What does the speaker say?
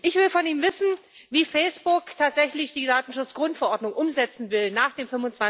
Ich will von ihm wissen, wie Facebook tatsächlich die Datenschutzgrundverordnung umsetzen will nach dem